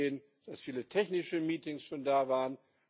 Wir haben gesehen, dass viele technische Meetings schon da waren.